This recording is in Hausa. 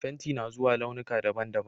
Fenti na zuwa launuka daban-daban